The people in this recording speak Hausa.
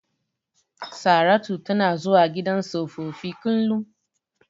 Saratu tana zuwa gidan tsofaffi kullum.